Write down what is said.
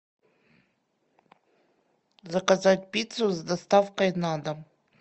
заказать пиццу с доставкой на дом